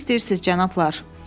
Necə istəyirsiz, cənablar?